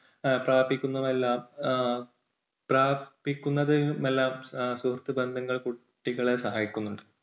സാധിക്കുന്നത് എല്ലാം പ്രാപിക്കുന്നതിനെല്ലാം സുഹൃത്ത് ബന്ധങ്ങൾ കുട്ടികളെ സഹായിക്കുന്നുണ്ട്.